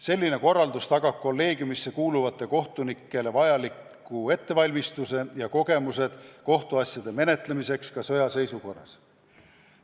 Selline korraldus tagab kolleegiumisse kuuluvatele kohtunikele vajaliku ettevalmistuse ja kogemused kohtuasjade menetlemiseks ka sõjaseisukorra ajal.